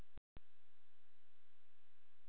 Fimm hefði verið í lagi, en fjögur?!?!?